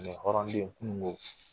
hɔrɔnden kununko